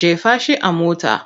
Jefa shi a mota!